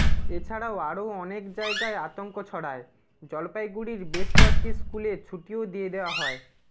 এছাড়াও আরও অনেক জায়গায় আতঙ্ক ছড়ায় জলপাইগুড়ির বেশ কয়েকটি স্কুলে ছুটিও দিয়ে দেওয়া হয়